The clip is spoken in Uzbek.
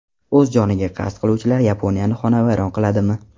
O‘z joniga qasd qiluvchilar Yaponiyani xonavayron qiladimi?.